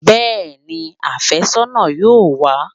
Bẹ́ẹ̀ni, afẹ́sọ́nà yóò wá